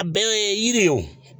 A bɛn na yiri ye wo.